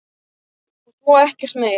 Og svo ekkert meir.